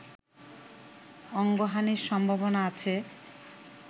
অঙ্গহানির সম্ভাবনা আছে